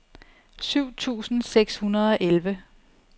syv tusind seks hundrede og elleve